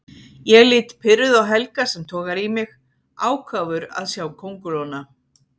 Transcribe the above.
Ég lít pirruð á Helga sem togar í mig, ákafur að sjá kóngulóna.